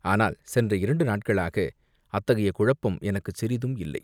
ஆனால் சென்ற இரண்டு நாட்களாக அத்தகைய குழப்பம் எனக்குச் சிறிதும் இல்லை.